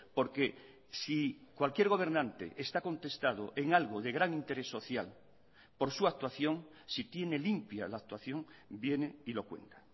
porque si cualquier gobernante está contestado en algo de gran interés social por su actuación si tiene limpia la actuación viene y lo cuenta